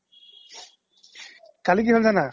কালি কি হ্'ল জানা